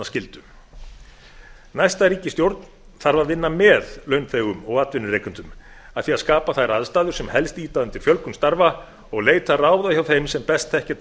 skyldu næsta ríkisstjórn þarf að vinna með launþegum og atvinnurekendum að því að skapa þær aðstæður sem helst ýta undir fjölgun starfa og leita ráða hjá þeim sem best þekkja